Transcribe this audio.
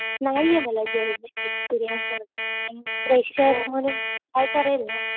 नाहीये मला job experience वगैरे. फ्रेशर म्हणून ट्राय करेल ना.